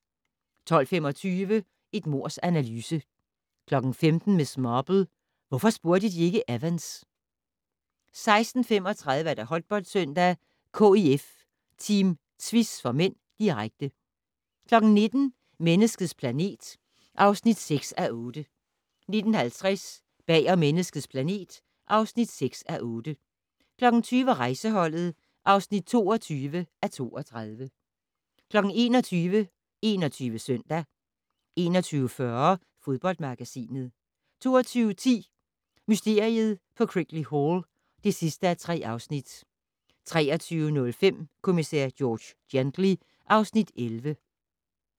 12:25: Et mords analyse 15:00: Miss Marple: Hvorfor spurgte de ikke Evans? 16:35: Håndboldsøndag: KIF-Team Tvis (m), direkte 19:00: Menneskets planet (6:8) 19:50: Bag om Menneskets planet (6:8) 20:00: Rejseholdet (22:32) 21:00: 21 Søndag 21:40: Fodboldmagasinet 22:10: Mysteriet på Crickley Hall (3:3) 23:05: Kommissær George Gently (Afs. 11)